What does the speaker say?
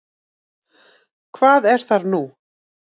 Hvað er þar nú?